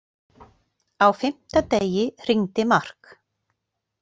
Á fimmta degi hringdi Mark.